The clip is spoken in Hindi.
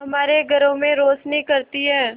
हमारे घरों में रोशनी करती है